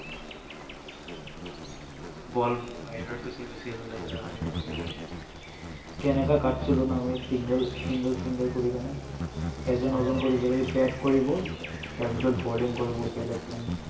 বল বাহিৰত গুচি গৈছিল, আমি আনিব লাগিছিল। কেনেকুৱা ছিলো আমি, single single single কৰি । এজন এজন কৰি কৰি bat কৰিব, তাৰ পিছত balling কৰিব। বেলেগ